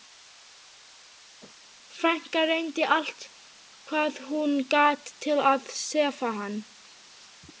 Frænka reyndi allt hvað hún gat til að sefa hann.